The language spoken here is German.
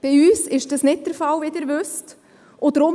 Bei uns ist dies, wie Sie wissen, nicht der Fall.